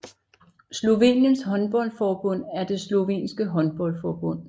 Sloveniens håndboldforbund er det slovenske håndboldforbund